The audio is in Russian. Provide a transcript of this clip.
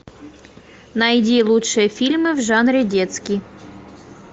найди лучшие фильмы в жанре детский